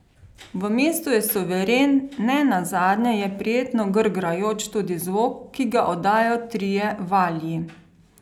V mestu je suveren, ne nazadnje je prijetno grgrajoč tudi zvok, ki ga oddajajo trije valji.